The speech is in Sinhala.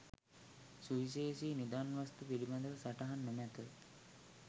සුවිශේෂී නිදන් වස්තූන් පිළිබඳ සටහන් නොමැත.